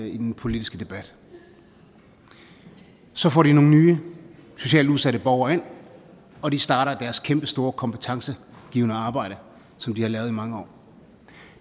i den politiske debat så får de nogle nye socialt udsatte borgere ind og de starter deres kæmpestore kompetencegivende arbejde som de har lavet i mange år